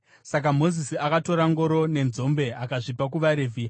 Saka Mozisi akatora ngoro nenzombe akazvipa kuvaRevhi.